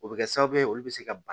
O bɛ kɛ sababu ye olu bɛ se ka